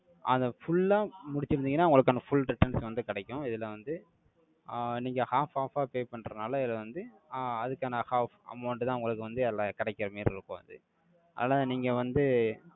அதை full ஆ முடிச்சிருந்தீங்கன்னா, உங்களுக்கான full returns வந்து கிடைக்கும். இதுல வந்து, ஆஹ் நீங்க half half ஆ pay பண்றதுனால, இதை வந்து ஆஹ் அதுக்கான half amount தான், உங்களுக்கு வந்து, எல்லாம் கிடைக்கிற மாதிரி இருக்கும் அது. ஆனா, நீங்க வந்து,